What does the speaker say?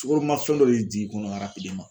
Sukaroma fɛn dɔ de jigi kɔnɔ